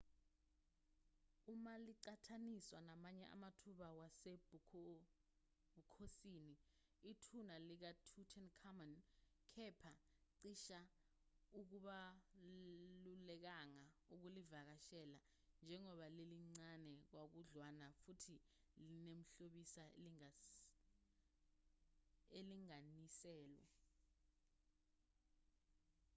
uma liqhathaniswa namanye amathuna wasebukhonsini ithuna likatutankhamun kepha cishe akubalulekanga ukulivakashela njengoba lilincane kakhudlwana futhi linemihlobiso elinganiselwe